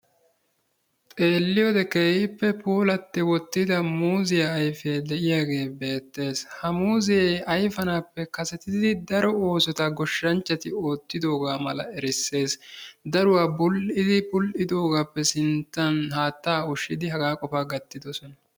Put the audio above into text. Xeelliyoode keehippe puulatti wottida muuzziya ayfe de'iyaage beettes. ha muuzze ayfanappe kasetidi daro oosota goshshanchchati oottidooga mala erissees. Daruwaa bul''idi, bul''idoogappe sinttan haatta ushshidi hagaa qofa gattidoosona.